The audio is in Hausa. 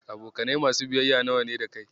Abokanai masu biyayya nawa ne da kai?